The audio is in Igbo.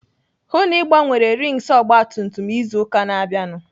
Hụụ na Ị gbanwere rings ọgbatumtum izu ụka na-abịanụ!